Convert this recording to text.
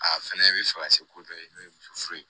A fɛnɛ bɛ fɛ ka se ko dɔ kɛ n'o ye muso furu ye